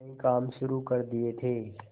कई काम शुरू कर दिए थे